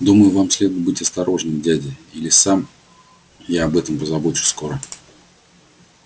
думаю вам следует быть осторожным дядя или сам я об этом позабочусь скоро